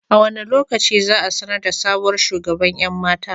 A wane lokaci za a sanar da sabuwar shugaban 'yan mata?